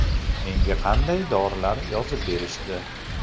Menga qanday dorilar yozib berishdi?